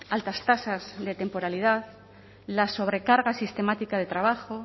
altas tasas de temporalidad la sobrecarga sistemática de trabajo